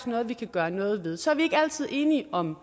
noget vi kan gøre noget ved så er vi ikke altid enige om